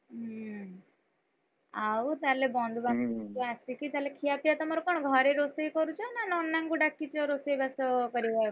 ହୁଁ ଆଉ ତାହେଲେ ବନ୍ଧୁବାନ୍ଧବ ଆସିକି ତାହେଲେ ତାହେଲେ ଖିଆ ପିଆ ତୁମର କଣ? ଘରେ ରୋଷେଇ କରୁଛ? ନା ନନାଙ୍କୁ ଡାକିଛ? ରୋଷେଇ ବାସ କରିବାକୁ,